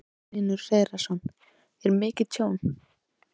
Magnús Hlynur Hreiðarsson: Er mikið tjón?